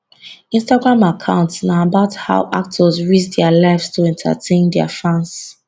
instagram account na about how actors risk dia lives to entertain dia fans